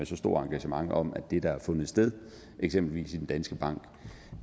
så stort engagement om at det der har fundet sted eksempelvis i danske bank